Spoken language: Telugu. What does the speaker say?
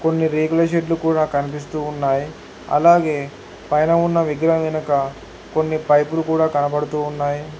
కొన్ని రేకుల షెడ్లు కూడా కనిపిస్తూ ఉన్నాయి అలాగే పైన ఉన్న విగ్రహం వెనక కొన్ని పైపులు కూడా కనబడుతూ ఉన్నాయి.